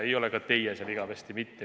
Ei ole ka teie seal igavesti mitte.